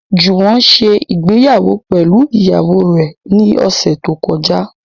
Jùwọ́n ṣe ìgbéyàwó pẹ̀lú ìyàwó rẹ̀ ní ọ̀sẹ̀ tó kọjá